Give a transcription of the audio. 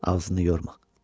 Ağzını yorma.